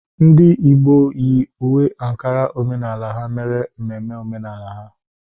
Ndị Igbo yi uwe Ankara omenala ha mere mmemme omenala ha.